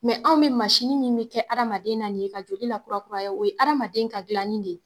Mɛ anw bi masini min bi kɛ adamaden na ni ye ka joli lakura kuraya o ye adamaden ka gilanni de ye